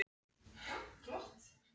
Hún leit á þá efstu sem snöggvast.